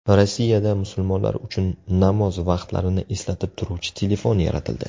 Rossiyada musulmonlar uchun namoz vaqtlarini eslatib turuvchi telefon yaratildi.